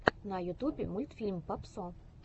на ютубе мультфильм папсо